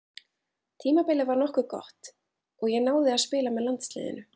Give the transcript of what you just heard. Tímabilið var nokkuð gott og ég náði að spila með landsliðinu.